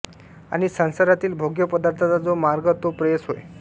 आणि संसारातील भोग्य पदार्थांचा जो मार्ग तो प्रेयस होय